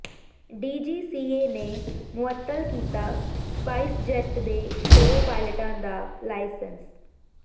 DGCA ਨੇ ਮੁਅੱਤਲ ਕੀਤਾ ਸਪਾਈਸਜੈੱਟ ਦੇ ਦੋ ਪਾਇਲਟਾਂ ਦਾ ਲਾਇਸੈਂਸ